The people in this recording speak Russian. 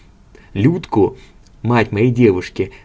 людко мать моей девушки